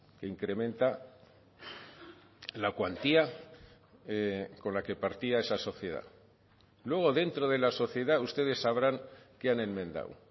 que incrementa la cuantía con la que partía esa sociedad luego dentro de la sociedad ustedes sabrán qué han enmendado